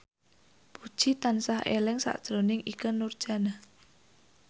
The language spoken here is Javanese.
Puji tansah eling sakjroning Ikke Nurjanah